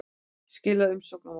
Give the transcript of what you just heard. Skila umsögn á morgun